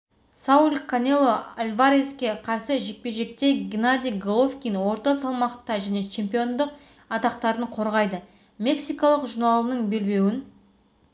сауль канело альвареске қарсы жекпе-жекте геннадий головкин орта салмақта және чемпиондық атақтарын қорғайды мексикалық журналының белбеуін